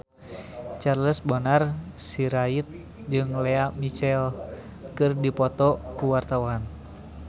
Charles Bonar Sirait jeung Lea Michele keur dipoto ku wartawan